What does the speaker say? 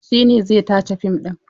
Shi ne zai tace fim ɗin.